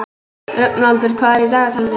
Rögnvaldur, hvað er í dagatalinu í dag?